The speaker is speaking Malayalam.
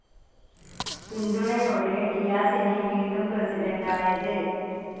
പിന്തുണയോടെ ഡിയാസിന് വീണ്ടും പ്രസിഡൻ്റായതു.